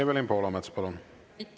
Evelin Poolamets, palun!